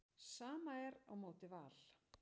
Sama er á móti Val.